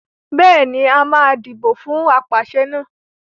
Bẹ́ẹ̀ ni, a máa dìbò fún apàṣẹ náà.